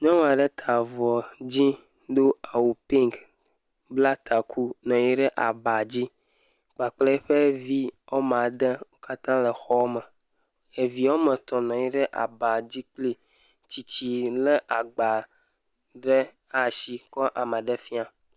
Nyɔnu aɖe ta avɔ dzɛ̃ do awu pink, bla ta ku nɔ anyi ɖe aba dzi, kpakple eƒe vi woame ade wo katã le xɔme, evi woame etɔ̃ nɔ anyi ɖe aba dzi kpli, tsitsi lé agba ɖe ɖe asi kɔ le ame ɖe fiam.